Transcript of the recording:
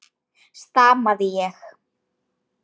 stamaði ég.